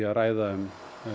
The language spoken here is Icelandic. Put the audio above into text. að ræða um